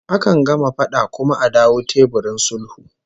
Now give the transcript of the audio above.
Akan gama fada kuma a dawo teburin sulhu